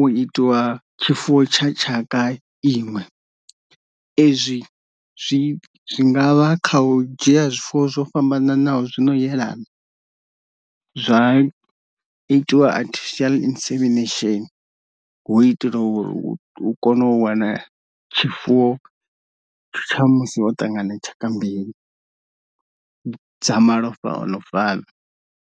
u itiwa tshifuwo tsha tshaka iṅwe, ezwi zwi ngavha kha u dzhia zwifuwo zwo fhambananaho zwino yelana zwa itiwa artificial insemination hu itela uri u kone u wana tshifuwo tsha musi ho ṱangana tshaka mbili dza malofha ono fana.